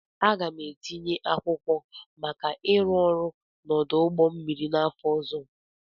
Aga m etinye akwụkwọ maka ịrụ ọrụ n'ọdụ ụgbọ mmiri n'afọ ọzọ.